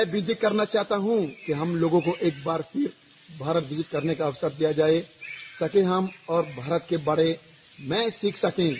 मैं विनती करना चाहता हूँ कि हम लोगों को एक बार फिर भारत विसित करने का अवसर दिया जाए ताकि हम और भारत के बारे में सीख सकें